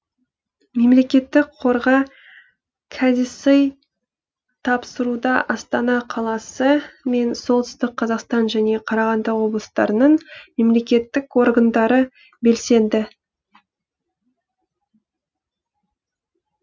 мемлекеттік қорға кәдесый тапсыруда астана қаласы мен солтүстік қазақстан және қарағанды облыстарының мемлекеттік органдары белсенді